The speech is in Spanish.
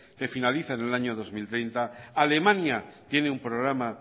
que finaliza en el año dos mil treinta alemania tiene un programa